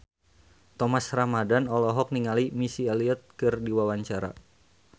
Thomas Ramdhan olohok ningali Missy Elliott keur diwawancara